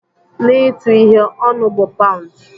Na ịtu ihe, "Ọnụ" bụ paụnd.